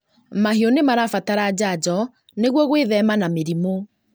Mahiũ nĩmarabatara njanjo nĩguo gwĩthema na mĩrimũ